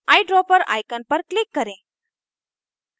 eyedropper icon पर click करें